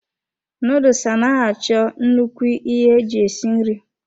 Nuduls anaghị achọ nnukwu ihe eji esi nri.